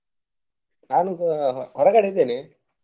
ನಾನು ಹೊರಗಡೆ ಇದ್ದೇನೆ.